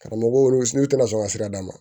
Karamɔgɔw n'u tɛna sɔn ka sira d'a ma